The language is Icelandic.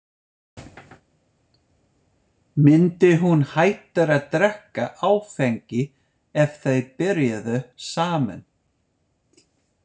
Myndi hún hætta að drekka áfengi ef þau byrjuðu saman?